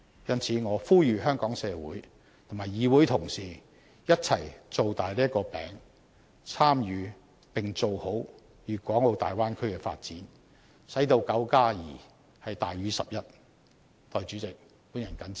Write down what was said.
因此，我呼籲香港社會及議會同事一起把"餅"造大，參與並做好大灣區的發展，使到9加2大於11。